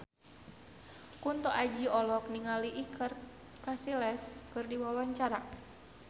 Kunto Aji olohok ningali Iker Casillas keur diwawancara